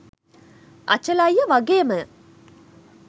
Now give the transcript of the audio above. අචල අයියා වගේම